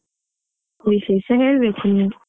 ವಿಶೇಷ ಹೇಳ್ಬೇಕು ನೀವ್.